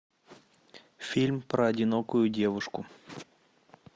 фильм про одинокую девушку